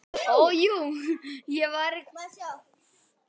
Fiskiskipin eru einnig búin mun fleiri og dýrari tækjum en áður.